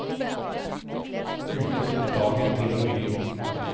Ute tok dagen til å gry.